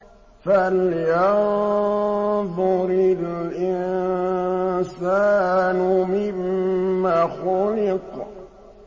فَلْيَنظُرِ الْإِنسَانُ مِمَّ خُلِقَ